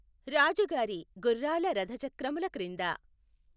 రాజుగారి గుఱ్ఱాల రధచక్రముల క్రింద